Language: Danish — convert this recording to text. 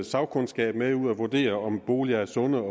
sagkundskab med ud at vurdere om boliger er sunde